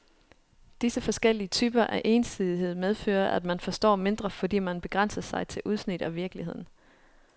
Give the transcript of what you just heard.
Disse forskellige typer af ensidighed medfører, at man forstår mindre, fordi man begrænser sig til udsnit af virkeligheden.